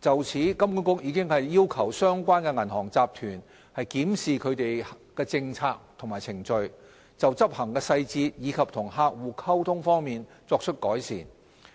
就此，金管局已經要求相關銀行集團檢視其政策和程序，就執行細節及與客戶溝通方面作出改善，